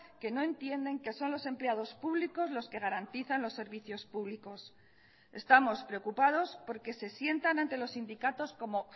que no entienden que son los empleados públicos los que garantizan los servicios públicos estamos preocupados porque se sientan ante los sindicatos como